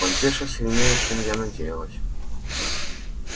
вампирша сильнее чем я надеялась